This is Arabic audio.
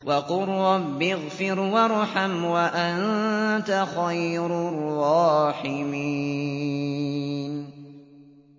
وَقُل رَّبِّ اغْفِرْ وَارْحَمْ وَأَنتَ خَيْرُ الرَّاحِمِينَ